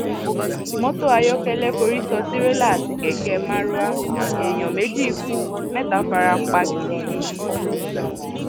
mọtò ayọkẹlẹ forí sọ tirẹlà àti kẹkẹ maruwa èèyàn méjì kú mẹta fara pa gidigidi